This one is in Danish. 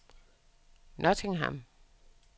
Nottingham